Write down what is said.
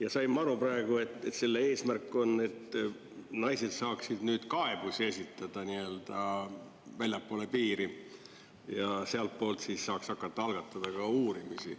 Ja sain ma aru praegu, et selle eesmärk on, et naised saaksid nüüd kaebusi esitada nii-öelda väljapoole piiri ja sealtpoolt saaks hakata algatada ka uurimisi.